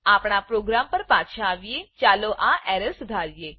આપણા પ્રોગ્રામ પર પાછા આવીએ ચાલો આ એરરને સુધારીએ